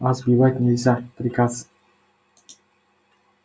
а сбивать нельзя приказ